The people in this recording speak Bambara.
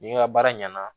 Ni n ka baara ɲɛna